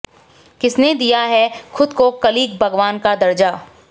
किसने दिया है खुद को कल्कि भगवान का दर्जा